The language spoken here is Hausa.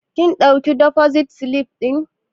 Kin ɗauki defosit silif ɗin?